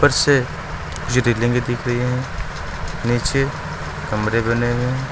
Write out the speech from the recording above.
मुझे रेलिंगे दिख रही हैं नीचे कमरे बने हुए हैं।